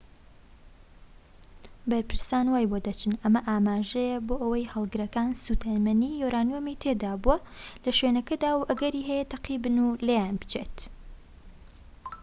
بەرپرسان وای بۆ دەچن ئەمە ئاماژەیە بۆ ئەوەی هەڵگرەکان سوتەمەنی یۆرانیۆمی تێدابووە لە شوێنەکەدا و ئەگەری هەیە تەقیبن و لێیان بچێت